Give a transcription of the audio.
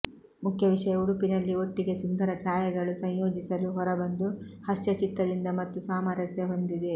ಮುಖ್ಯ ವಿಷಯ ಉಡುಪಿನಲ್ಲಿ ಒಟ್ಟಿಗೆ ಸುಂದರ ಛಾಯೆಗಳು ಸಂಯೋಜಿಸಲು ಹೊರಬಂದು ಹರ್ಷಚಿತ್ತದಿಂದ ಮತ್ತು ಸಾಮರಸ್ಯ ಹೊಂದಿದೆ